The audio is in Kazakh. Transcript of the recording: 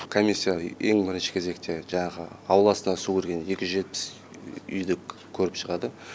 комиссия ең бірінші кезекте жаңағы ауласына су кірген екі жүз жетпіс үйді көріп шығады